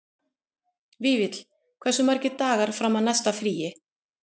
Vífill, hversu margir dagar fram að næsta fríi?